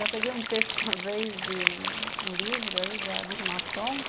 Já peguei um texto uma vez de um livro aí da dos maçons,